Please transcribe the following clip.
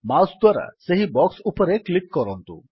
mouse ଦ୍ୱାରା ସେହି box ଉପରେ କ୍ଲିକ୍ କରନ୍ତୁ